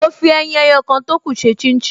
Mo fi ẹyin ẹyọ kan tókù ṣe chin chin